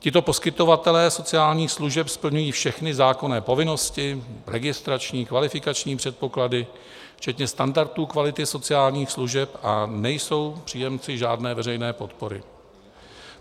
Tito poskytovatelé sociálních služeb splňují všechny zákonné povinnosti, registrační, kvalifikační předpoklady včetně standardů kvality sociálních služeb a nejsou příjemci žádné veřejné podpory.